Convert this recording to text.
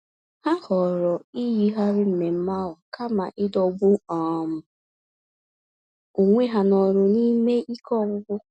Ha họọrọ iyigharị mmemmé ahụ kama ịdọgbu um onwe ha n'ọrụ n'ime ike ọgwụgwụ.